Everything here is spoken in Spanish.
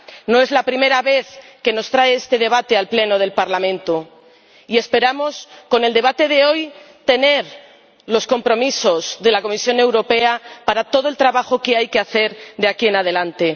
No es la primera vez que nos trae este debate al Pleno del Parlamento y esperamos, con el debate de hoy, tener los compromisos de la Comisión Europea para todo el trabajo que hay que hacer de aquí en adelante.